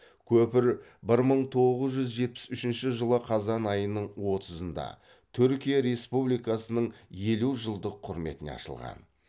көпір бір мың тоғыз жүз жетпіс үшінші жылы қазан айының отызында түркия республикасының елу жылдық құрметіне ашылған